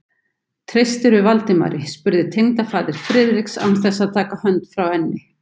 Treystirðu Valdimari? spurði tengdafaðir Friðriks án þess að taka hönd frá enni.